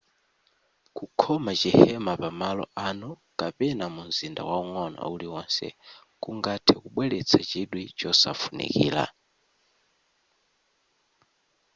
kukhoma chihema pamalo anu kapena mumzinda waung'ono uliwonse kungathe kubweletsa chidwi chosafunikira